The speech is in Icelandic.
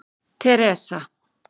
Teresa